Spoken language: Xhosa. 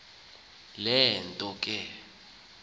le nto ke